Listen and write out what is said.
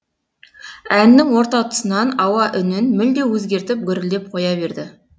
әннің орта тұсынан ауа үнін мүлде өзгертіп гүрілдеп қоя берді